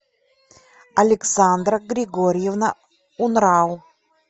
александра григорьевна унрау